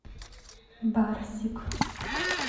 барсик